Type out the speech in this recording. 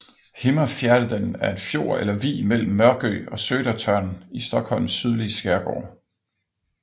Himmerfjärden er en fjord eller vig mellem Mörkö og Södertörn i Stockholms sydlige skærgård